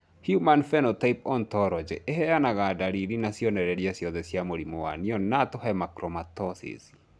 Human Phenotype Ontology ĩheanaga ndariri na cionereria ciothe cia mũrimũ wa Neonatal hemochromatosis.